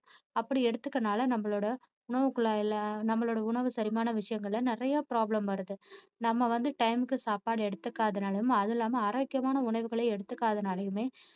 அப்படி எடுத்துக்கிறதுனால நம்மளோட உணவுக்குழாய்ல நம்மளோட உணவு செரிமான விஷயங்கள்ல நிறைய problem வருது நம்ம வந்து time க்கு சாப்பாடு எடுத்துக்காததுனாலேயும் அதுவும் இல்லாம ஆரோக்கியமான உணவுகளே எடுத்துக்காததுனாலேயுமே